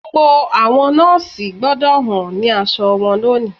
Gbogbo àwọn nọọsi gbọdọ̀ hàn ni àwọn aṣọ wọn lónìí